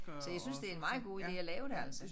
Så jeg synes det en meget god ide at lave det altså